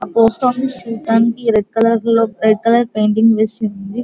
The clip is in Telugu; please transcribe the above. ఆ పోస్ట్ ఆఫీస్ చూట్టానికి రెడ్ కలర్ లో రెడ్ కలర్ పేయింటింగ్ వేసి ఉంది.